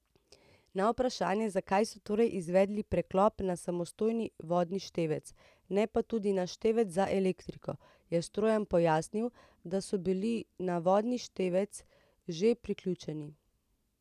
Na vprašanje, zakaj so torej izvedli preklop na samostojni vodni števec, ne pa tudi na števec za elektriko, je Strojan pojasnil, da so bili na vodni števec že priključeni.